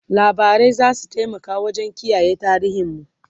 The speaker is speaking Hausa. labarai zasu taimaka wajen kiyaye tarihin mu